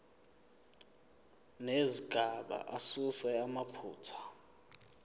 nezigaba asuse amaphutha